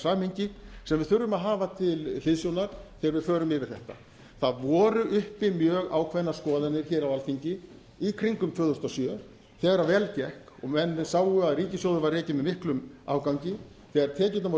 samhengi sem við þurfum að hafa til hliðsjónar þegar við förum yfir þetta það voru uppi mjög ákveðnar skoðanir hér á alþingi í kringum tvö þúsund og sjö þegar vel gekk og menn sáu að ríkissjóður var rekinn með miklum afgangi þegar